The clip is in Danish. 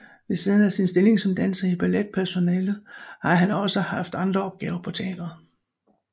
Ved siden af sin stilling som danser i balletpersonalet har han også haft andre opgaver på teatret